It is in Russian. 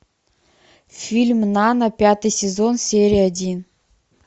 фильм нано пятый сезон серия один